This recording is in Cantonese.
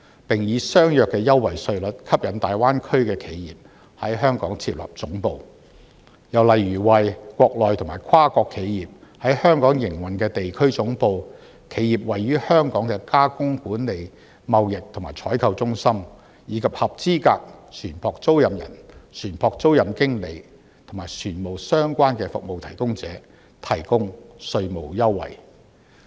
並以相若的優惠稅率吸引大灣區的企業在香港設立總部。又例如為國內及跨國企業在香港營運的地區總部、企業位於香港的加工管理、貿易及採購中心，以及合資格船舶租賃人、船舶租賃經理和與船務相關的服務提供者提供稅務優惠。